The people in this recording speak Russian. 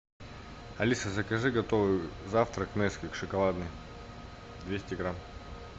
алиса закажи готовый завтрак несквик шоколадный двести грамм